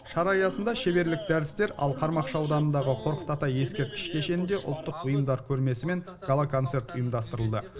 шара аясында шеберлік дәрістер ал қармақшы ауданындағы қорқыт ата ескерткіш кешенінде ұлттық бұйымдар көрмесі мен гала концерт ұйымдастырылды